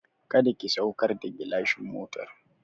Kada ki saukar da gilashin motar!